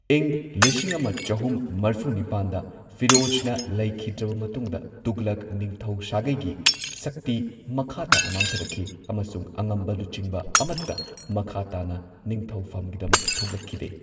ꯏꯪ ꯂꯤꯁꯤꯡ ꯑꯃ ꯆꯍꯨꯝ ꯃꯔꯐꯨ ꯅꯤꯄꯥꯟꯗ ꯐꯤꯔꯣꯖꯅ ꯂꯩꯈꯤꯗ꯭ꯔꯕ ꯃꯇꯨꯡꯗ, ꯇꯨꯘꯂꯛ ꯅꯤꯡꯊꯧ ꯁꯥꯒꯩꯒꯤ ꯁꯛꯇꯤ ꯃꯈꯥ ꯇꯥꯅ ꯃꯥꯡꯊꯔꯛꯈꯤ, ꯑꯃꯁꯨꯡ ꯑꯉꯝꯕ ꯂꯨꯆꯤꯡꯕ ꯑꯃꯠꯇ ꯃꯈꯥ ꯇꯥꯅ ꯅꯤꯡꯊꯧꯐꯝꯒꯤꯗꯃꯛ ꯊꯣꯛꯂꯛꯈꯤꯗꯦ꯫